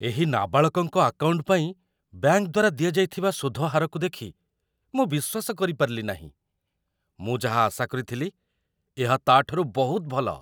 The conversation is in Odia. ଏହି ନାବାଳକଙ୍କ ଆକାଉଣ୍ଟ ପାଇଁ ବ୍ୟାଙ୍କ ଦ୍ୱାରା ଦିଆଯାଇଥିବା ସୁଧ ହାରକୁ ଦେଖି ମୁଁ ବିଶ୍ୱାସ କରିପାରିଲି ନାହିଁ! ମୁଁ ଯାହା ଆଶା କରିଥିଲି ଏହା ତା'ଠାରୁ ବହୁତ ଭଲ।